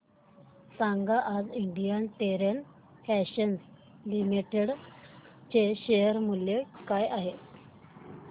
सांगा आज Indian Terrain Fashions Limited चे शेअर मूल्य काय आहे